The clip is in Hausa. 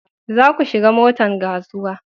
za ku shiga motan kasuwa